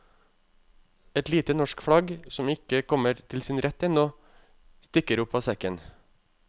Et lite norsk flagg, som ikke kommer til sin rett ennå, stikker opp av sekken.